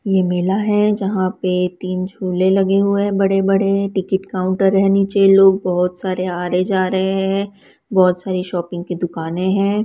ये मेला है जहां पे तीन झूले लगे हुए हैं बड़े-बड़े टिकट काउंटर है नीचे लोग बहुत सारे आ रहे हैं जा रहे हैं बहुत सारी शॉपिंग की दुकाने है।